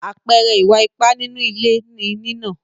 Àpẹẹrẹ Ìwà ipá nínú ilé ni nínà.